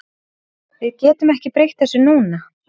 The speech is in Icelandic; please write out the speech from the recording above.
Við getum ekki breytt þessu núna.